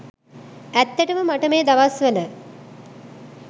ඇත්තටම මට මේ දවස්වල.